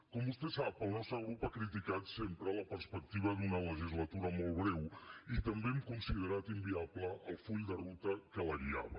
com vostè sap el nostre grup ha criticat sempre la perspectiva d’una legislatura molt breu i també hem considerat inviable el full de ruta que la guiava